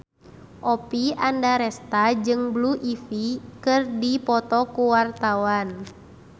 Oppie Andaresta jeung Blue Ivy keur dipoto ku wartawan